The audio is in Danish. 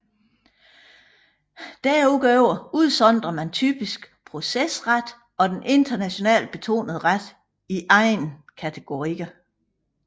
Derudover udsondrer man typisk procesret og den internationalt betonede ret i egne kategorier